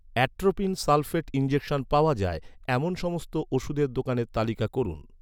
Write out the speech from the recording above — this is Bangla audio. অ্যাট্রোপিন সালফেট ইনজেকশন পাওয়া যায়, এমন সমস্ত ওষুধের দোকানের তালিকা করুন